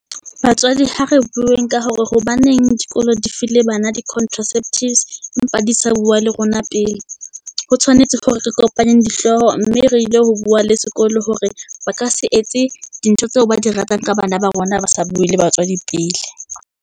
Batswadi ha re bueng ka hore hobaneng dikolo di file bana di contraceptives empa di sa bua le rona pele. Ho tshwanetse hore re kopanye dihlooho, mme re ile ho bua le sekolo hore ba ka se etse di ntho tseo ba di ratang ka bana ba rona. Ba sa bue le batswadi pele.